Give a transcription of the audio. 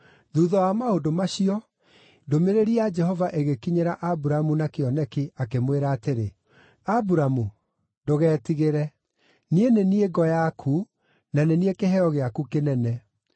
Thuutha wa maũndũ macio, ndũmĩrĩri ya Jehova ĩgĩkinyĩra Aburamu na kĩoneki, akĩmwĩra atĩrĩ: “Aburamu, ndũgetigĩre. Niĩ nĩ niĩ ngo yaku, na nĩ niĩ kĩheo gĩaku kĩnene.”